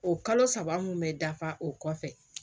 O kalo saba mun bɛ dafa o kɔfɛ